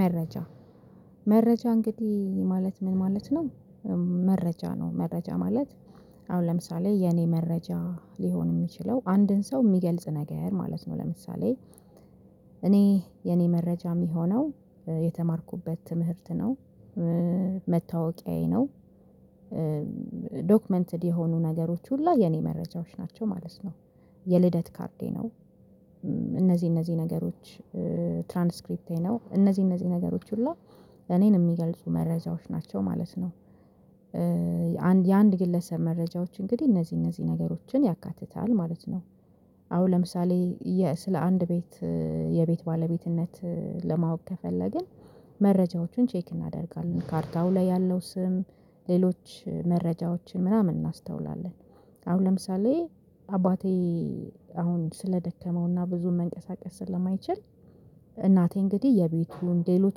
መረጃ። መረጃ እንግዲህ ማለት ምን ማለት ነው። መረጃ ነው መረጃ ማለት። አሁን ለምሳሌ የኔ መረጃ ሊሆን የሚችለው አንድን ሰው የሚገልጽ ነገር ማለት ነው። ለምሳሌ እኔ የኔ መረጃ የሚሆነው የተማርኩበት ትምህርት ነው። መታወቂያዬ ነው። ዶክመንትድ የሆኑ ነገሮች ሁላ የኔ መረጃዎች ናቸው ማለት ነው። የልደት ካርዴ ነው። እነዚህ እነዚህ ነገሮች ትራንስክሪፕቴ ነው እነዚህ እነዚህ ነገሮች ሁሉ እኔን የሚገልጹ መረጃዎች ናቸው ማለት ነው። የአንድ የአንድ ግለሰብ መረጃዎች እንግዲህ እነዚህ እነዚህ ነገሮችን ያካትታል ማለት ነው። አሁን ለምሳሌ ስለ አንድ ቤት የቤት ባለቤትነት ለማወቅ ከፈለግን መረጃዎቹን ቼክ እናደርጋለን ካርታው ላይ ያለው ስም ሌሎች መረጃዎችን ምናምን እናስተውላለን። አሁን ለምሳሌ አባቴ አሁን ስለደከመውና ብዙም መንቀሳቀስ ስለማይችል እናቴ እንግዲህ የቤቱን ሌሎች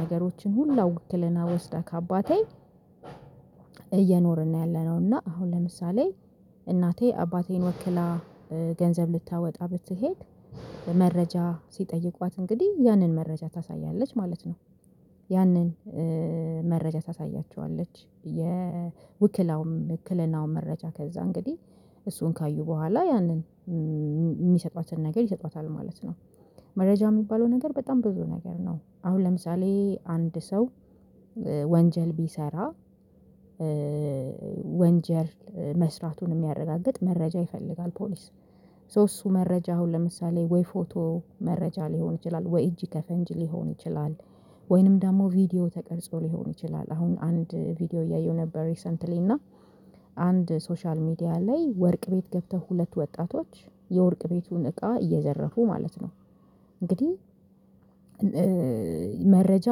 ነገሮችን ሁላ ዉክለና ወስዳ ከአባቴ እየኖርን ነው ያለነው። እና አሁን ለምሳሌ እናቴ አባቴን ወክላ ገንዘብ ልታወጣ ብትሄድ መረጃ ሲጠይቋት እንግዲህ ያንን መረጃ ታሳያለች ማለት ነው። ያንን መረጃ ታሳያችኋለች የውክላውም የዉክልናውን መረጃ ከዛ እንግዲህ እሱን ካዩ በኋላ ያንን የሚሰጧትን ነገር ይሰጧታል ማለት ነው። መረጃ የሚባለው ነገር በጣም ብዙ ነገር ነው አሁን ለምሳሌ አንድ ሰው ወንጀል ቢሰራ ወንጀል መስራቱን የሚያረጋግጥ መረጃ ይፈልጋል። ፖሊስ ሶ እሱ መረጃ አሁን ለምሳሌ ወይ ፎቶ መረጃ ሊሆን ይችላል ወይ እጅ ከፈንጅ ሊሆን ይችላል። ወይንም ደግሞ ቪዲዮ ተቀርጾ ሊሆን ይችላል አሁን አንድ ቪዲዮ እያየሁ ነበር ሪሰንትሊ እና አንድ ሶሻል ሚዲያ ላይ ወርቅ ቤት ገብተው ሁለት ወጣቶች የወርቅ ቤቱን እቃ እየዘረፉ ማለት ነው። እንግዲህ መረጃ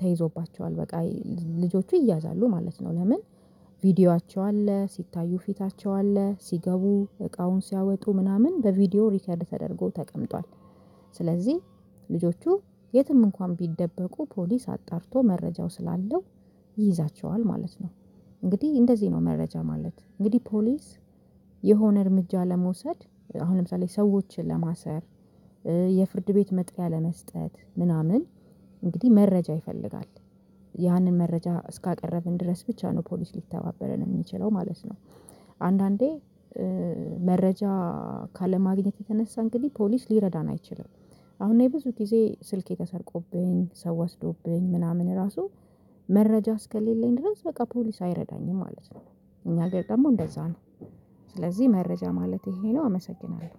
ተይዞባቸዋል በቃ ልጆቹ ይያዛሉ ማለት ነው። ለምን? ቪዲዮአቸው አለ ሲታዩ ፊታቸው አለ ሲገቡ እቃውን ሲያወጡ ምናምን በቪዲዮ ሪከርድ ተደርጎ ተቀምጧል። ስለዚህ ልጆቹ የትም እንኳን ቢደበቁ ፖሊስ አጣርቶ መረጃው ስላለው ይይዛቸዋል ማለት ነው። እንግዲህ እንደዚህ ነው መረጃ ማለት እንግዲህ ፖሊስ የሆነ እርምጃ ለመውሰድ አሁን ለምሳሌ ሰዎችን ለማሰር የፍርድ ቤት መጥሪያ ለመስጠት ምናምን እንግዲህ መረጃ ይፈልጋል። ያንን መረጃ እስካቀረብን ድረስ ብቻ ነው ፖሊስ ሊተባበረን የሚችለው ማለት ነው። አንዳንዴ መረጃ ካለማግኘት የተነሳ እንግዲህ ፖሊስ ሊረዳን አይችልም። አሁን እኔ ብዙ ጊዜ ስልኬ ተሰርቆብኝ ሰው ወስዶብኝ ምናምን ራሱ መረጃ እስከሌለኝ ድረስ በቃ ፖሊስ አይረዳኝም ማለት ነው። እኛ ሀገር ደግሞ እንደዛ ነው። ስለዚህ መረጃ ማለት ይሄ ነው አመሰግናለሁ።